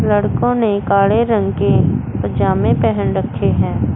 लड़कों ने काले रंग के पजामे पहन रखे हैं।